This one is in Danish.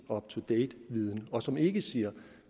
up to date viden og som ikke siger